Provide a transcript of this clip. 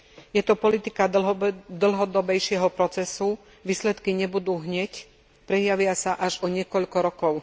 Je to politika dlhodobejšieho procesu, výsledky nebudú hneď, prejavia sa až o niekoľko rokov.